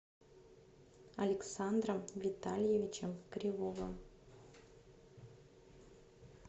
александром витальевичем кривовым